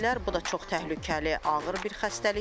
Bu da çox təhlükəli, ağır bir xəstəlikdir.